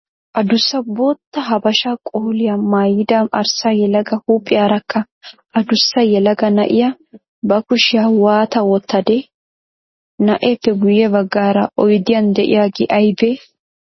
Adussa bootta habashaa qoliyaa maayida arssa yelaga huuphiyaarakka adussa yelaga na"iyaa ba kushiya waata wottadee? Na'eeppe guyye baggaara oydiyan de"iyaagee aybee?